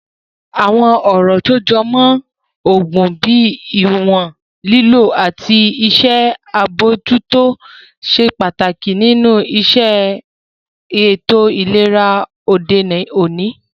Àwọn ọ̀rọ̀ tó jọ mọ́ oògùn bíi ìwọ̀n lílò àti ṣíṣe àbojútó ṣe pàtàkì nínu iṣẹ́ ètò ìlera òde òní